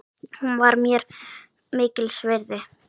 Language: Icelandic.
Hún var mér mikils virði.